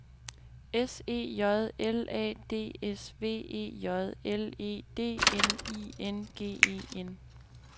S E J L A D S V E J L E D N I N G E N